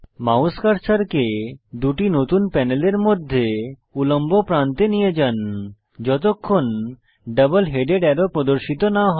mouse কার্সারকে দুটি নতুন প্যানেলের মধ্যে উল্লম্ব প্রান্তে নিয়ে যান যতক্ষণ ডাবল হেডেড অ্যারো প্রদর্শিত না হয়